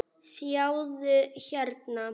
sjáðu, hérna.